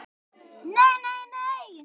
NEI, NEI, NEI.